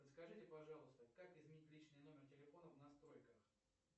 подскажите пожалуйста как изменить личный номер телефона в настройках